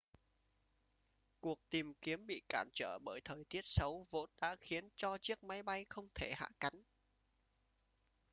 cuộc tìm kiếm bị cản trở bởi thời tiết xấu vốn đã khiến cho chiếc máy bay không thể hạ cánh